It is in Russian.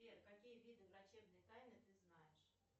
сбер какие виды врачебной тайны ты знаешь